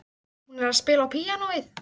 Hún er að spila á píanóið.